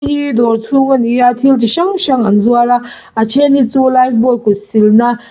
heihi dawr chhung ani a thil chi hrang hrang an zuar a a then hi chu life boy kut silna--